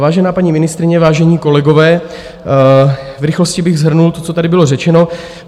Vážená paní ministryně, vážení kolegové, v rychlosti bych shrnul to, co tady bylo řečeno.